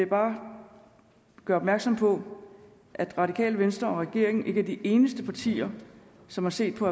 bare gøre opmærksom på at radikale venstre og regeringen ikke er de eneste partier som har set på